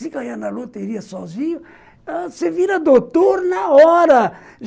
Se ganhar na loteria sozinho, você vira doutor na hora.